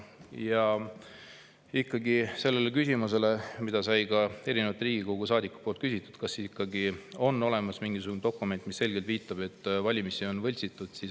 Ja ikkagi, meil oli küsimus, mida küsisid ka teised Riigikogu saadikud: kas on olemas mingisugune dokument, mis selgelt viitab, et valimisi on võltsitud.